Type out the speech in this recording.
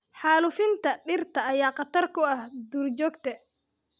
Xaalufinta dhirta ayaa khatar ku ah duurjoogta.